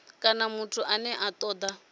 kana muthu ane a toda